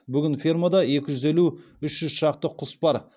бүгін фермада екі жүз елу үш жүз шақты құс бар